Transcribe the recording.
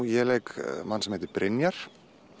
ég leik mann sem heitir Brynjar